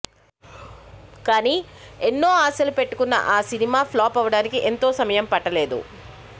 కానీ ఎన్నో ఆశలు పెట్టుకున్న ఆ సినిమా ప్లాప్ అనడానికి ఎంతో సమయం పట్టలేదు